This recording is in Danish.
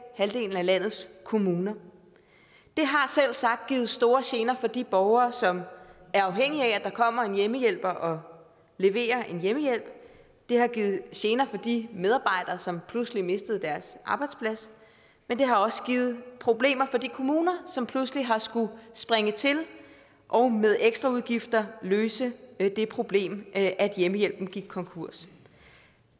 halvdelen af landets kommuner det har selvsagt givet store gener for de borgere som er afhængige af at der kommer en hjemmehjælper og leverer en hjemmehjælp det har givet gener for de medarbejdere som pludselig mistede deres arbejdsplads men det har også givet problemer for de kommuner som pludselig har skullet springe til og med ekstraudgifter har løse det problem at hjemmehjælpen gik konkurs